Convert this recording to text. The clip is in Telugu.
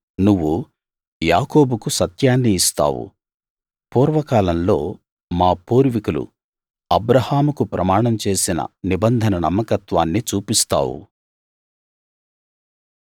నువ్వు యాకోబుకు సత్యాన్ని ఇస్తావు పూర్వకాలంలో మా పూర్వీకులు అబ్రాహాముకు ప్రమాణం చేసిన నిబంధన నమ్మకత్వాన్ని చూపిస్తావు